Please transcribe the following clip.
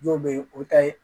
Dɔw bɛ yen o ta ye